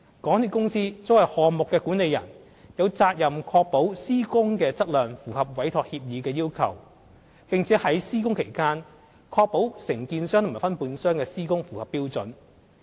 港鐵公司作為項目管理人，有責任確保施工的質量符合委託協議的要求，並在施工期間確保承建商和分判商的施工符合標準。